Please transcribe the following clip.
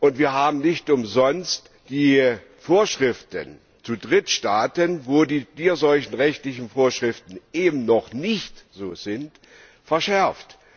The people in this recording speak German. Und wir haben nicht umsonst die Vorschriften zu Drittstaaten, wo die tierseuchenrechtlichen Vorschriften eben noch nicht so sind, verschärft.